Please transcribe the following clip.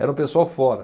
Era um pessoal fora.